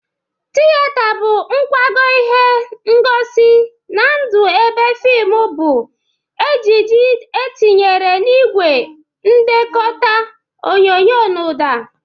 Tiyeta bụ nkwago ihe ngosi na ndụ ebe fimụ bụ ejije etinyere n'igwe ndekọta onyonyo na ụda.